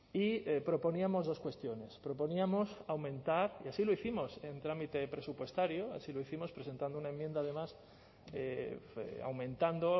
y proponíamos dos cuestiones proponíamos aumentar y así lo hicimos en trámite presupuestario así lo hicimos presentando una enmienda además aumentando